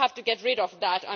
We have to get rid of that.